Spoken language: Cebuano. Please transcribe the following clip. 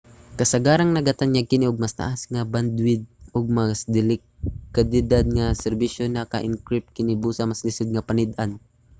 kasagaran nagatanyag kini og mas taas nga bandwidth ug mas dekalidad nga serbisyo. naka-encrypt kini busa mas lisod nga panid-an